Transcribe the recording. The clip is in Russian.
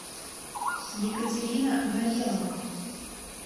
екатерина горелова